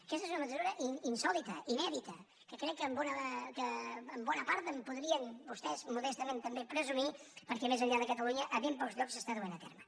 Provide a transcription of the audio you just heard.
aquesta és una mesura insòlita inèdita que crec que en bona part en podrien vostès modestament també presumir perquè més enllà de catalunya a ben pocs llocs s’està duent a terme